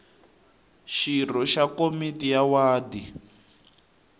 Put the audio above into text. xirho xa komiti ya wadi